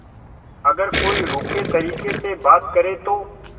अगर कोई रूखे तरीके से बात करे तो